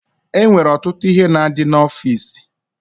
E nwere ọtụtụ ihe na-adị n'ọfiisi.